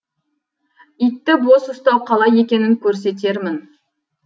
итті бос ұстау қалай екенін көрсетермін